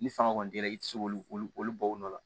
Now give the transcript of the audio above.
Ni fanga kɔni t'i la i tɛ se k'olu olu bɔ u nɔ la